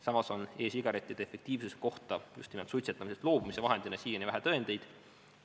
Samas on e-sigarettide efektiivsuse kohta just suitsetamisest loobumise vahendina siiani vähe tõendeid.